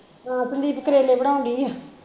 ਹਾਂ ਸੰਦੀਪ ਕਰੇਲੇ ਬਣਾਉਣ ਦਈ ਆ